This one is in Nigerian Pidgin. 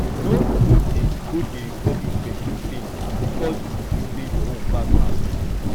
no go dey go dey rubbish pesin pain bikos yu feel sey yur own pass am